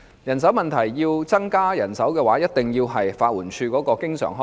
如果要增加法援署人手，便一定要增加其經常開支。